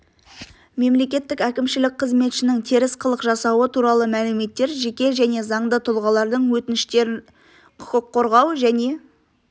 мемлекеттік әкімшілік қызметшінің теріс қылық жасауы туралы мәліметтер жеке және заңды тұлғалардың өтініштері құқық қорғау және